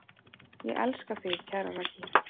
Elska þig, kæra Raggý.